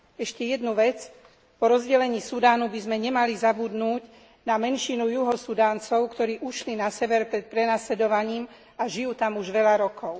Ešte jednu vec, po rozdelení Sudánu by sme nemali zabudnúť na menšinu Juhosudáncov, ktorí ušli na sever pred prenasledovaním a žijú tam už veľa rokov.